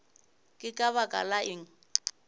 ke ka baka la eng